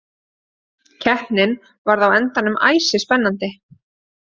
Keppnin varð á endanum æsispennandi.